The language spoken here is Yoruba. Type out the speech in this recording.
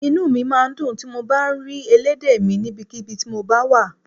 Inú mi máa ń dùn tí mo bá ń rí elédè mi níbikíbi tí mo bá wà